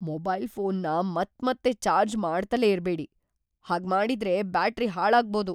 Mobile ಫೋನ್‌ನ ಮತ್ಮತ್ತೆ charge ಮಾಡ್ತಲೇ ಇರ್ಬೇಡಿ, ಹಾಗ್ಮಾಡಿದ್ರೆ ಬ್ಯಾಟರಿ ಹಾಳಾಗ್ಬೋದು.